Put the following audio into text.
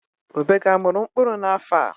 Ube gị amịrị mkpụrụ n'afọ a?